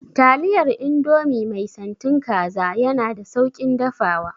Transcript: Taliyar indomie mai santin kaza yana da sauƙin dafawa